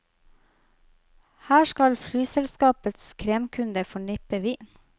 Her skal flyselskapenes kremkunder få nippe vin.